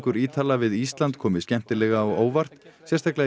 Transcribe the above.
Ítala við Ísland komi skemmtilega á óvart sérstaklega í